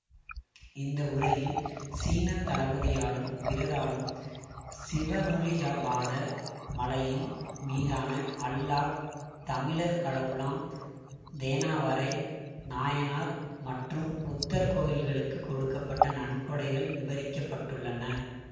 இந்த உரையில் சீன தளபதியாலும் பிறராலும் சிவனொளியபாத மலையின் மீதான அல்லாஹ் தமிழர் கடவுளாம் தேனாவரை நாயனார் மற்றும் புத்தர் கோவில்களுக்குக் கொடுக்க பட்ட நன்கொடைகள் விவரிக்கப்பட்டுள்ளன